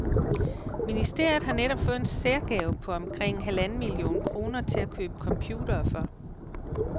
Ministeriet har netop fået en særgave på omkring halvanden million kroner til at købe computere for.